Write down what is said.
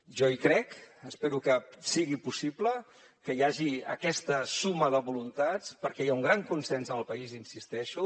jo hi crec espero que sigui possible que hi hagi aquesta suma de voluntats perquè hi ha un gran consens al país hi insisteixo